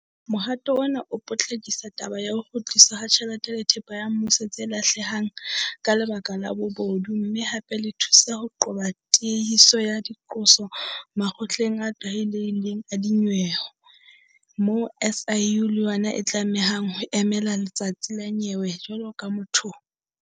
Mohato ona o potlakisa taba ya ho kgutliswa ha tjhelete le thepa ya mmuso tse lahlehang ka lebaka la bobodu mme hape le thusa ho qoba tiehiso ya diqoso makgotleng a tlwaelehileng a dinyewe moo SIU le yona e tlamehang ho emela letsatsi la nyewe jwalo ka motho ohle.